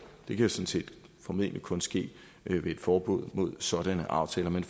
det kan formentlig kun ske ved et forbud mod sådanne aftaler men